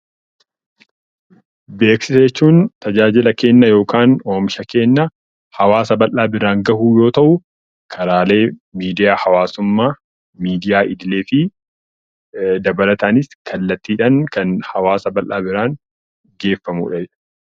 Beeksisa jechuun tajaajila Keenna yookaan oomisha keenna hawaasa baldhaa biraan gahuu yoo tahu, karaalee miidiyaa hawaasummaa, midiyaa idilee fi dabalataanis kallattiidhaan Kan hawaasa baldhaa biraan geeffamudha.